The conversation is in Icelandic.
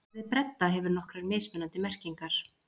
Orðið bredda hefur nokkrar mismunandi merkingar.